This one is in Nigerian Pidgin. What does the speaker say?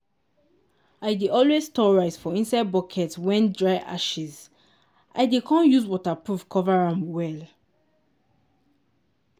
i dey always store rice for inside bucket wen dry ashes l dey com use waterproof cover am well.